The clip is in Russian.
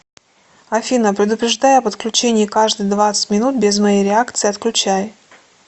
афина предупреждай об отключении каждые двадцать минут без моей реакции отключай